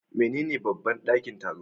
Menene babban ɗakin taro?